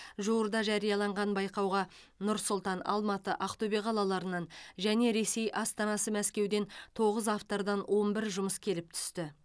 жуырда жарияланған байқауға нұр сұлтан алматы ақтөбе қалаларынан және ресей астанасы мәскеуден тоғыз автордан он бір жұмыс келіп түсті